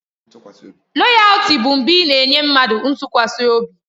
Loyaltị bụ mgbe ị na-enye mmadụ ntụkwasị obi.